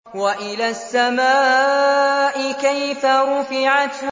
وَإِلَى السَّمَاءِ كَيْفَ رُفِعَتْ